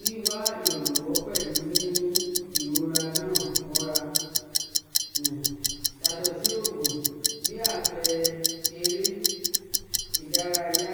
Wíwá ìrànwọ́ pẹ̀lú mímú ìrora ńà mọ́ra [um]yàtọ̀ sí òògùn, bí àpẹẹrẹ eré ìdárayá,